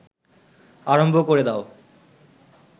আরম্ভ ক’রে দাও